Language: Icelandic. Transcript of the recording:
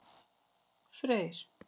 Freyr